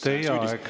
Teie aeg!